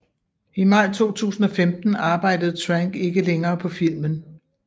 I maj 2015 arbejdede Trank ikke længere på filmen